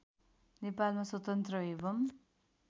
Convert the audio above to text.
नेपालमा स्वतन्त्र एवं